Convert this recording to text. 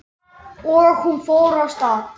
Og hún fór af stað.